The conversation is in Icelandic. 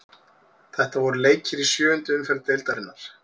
Þetta voru leikir í sjöundu umferð deildarinnar.